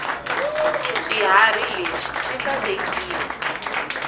swiharhi leswi swi sasekile